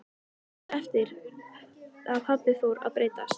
Löngu eftir að pabbi fór að breytast.